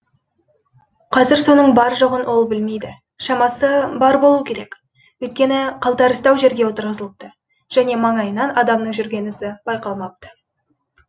қазір соның бар жоғын ол білмейді шамасы бар болуы керек өйткені қалтарыстау жерге отырғызылыпты және ма ңайынан адамның жүрген ізі байқалмапты